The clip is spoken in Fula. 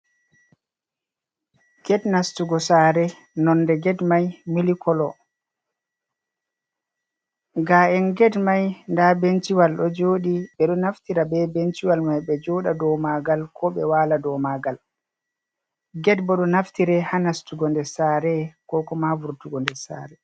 Get nastugo saare, nonde get may mili kolo, ga’en get may ndaa benciwal ɗo jooɗi. Ɓe ɗo naftira be benciwal may, ɓe jooɗa dow maagal ko ɓe waala dow maagal. Get bo ɗo naftire haa nastugo nder saare ko kuma vurtugo nder saare.